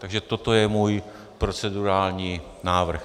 Takže toto je můj procedurální návrh.